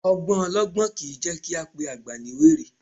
Ọgbọ́n ọlọgbọ́n kìí jẹ́ kí á pe àgbà ní wèrè